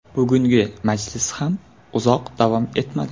Bugungi majlis ham uzoq davom etmadi.